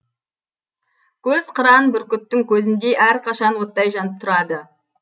көз қыран бүркіттің көзіндей әрқашан оттай жанып тұрады